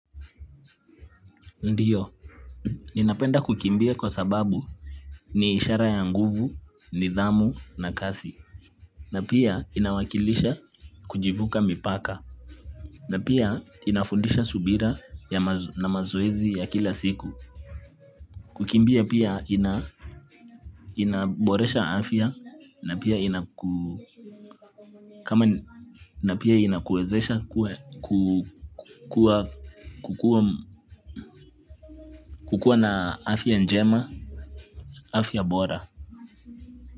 Ndiyo, ninapenda kukimbia kwa sababu ni ishara ya nguvu, nidhamu na kasi. Na pia inawakilisha kujivuka mipaka. Na pia inafundisha subira ya maz na mazoezi ya kila siku. Kukimbia pia ina inaboresha afya na pia inakua kama na pia inakuwezesha kuwa ku kukuwa na afya njema, afya bora.